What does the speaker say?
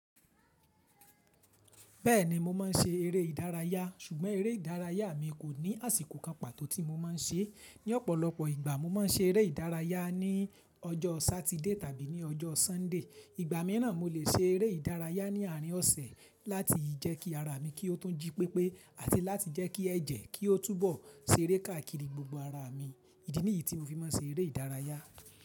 Bẹ́ẹ̀ni mo máa ń ṣe eré ìdárayá, ṣùgbọ́n eré ìdárayá mi kò ní àsìkò kan pàtó tí mo máa ń ṣe. Ní ọ̀pọ̀lọpọ̀ ìgbà mo máa ń ṣe eré ìdárayá ní ọjọ́ Saturday tàbí ní ọjọ́ Sunday. Ìgbà mìíràn mo lè ṣe eré ìdárayá ní àárín ọ̀sẹ̀ láti jẹ́ kí ara mi kí ó tún jí pépé àti láti jẹ́ kí ẹ̀jẹ̀ kí ó túbọ̀ ṣeré káàkiri gbogbo ara mi. Idi nìyí tí mo fi máa ń ṣe eré ìdárayá.